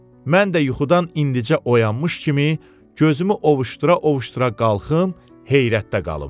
Mən də yuxudan indicə oyanmış kimi gözümü ovuşdura-ovuşdura qalxım, heyrətdə qalım.